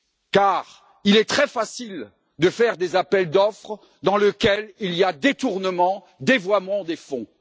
Car il est très facile de faire des appels d'offres dans lesquels il y a détournement ou dévoiement des fonds.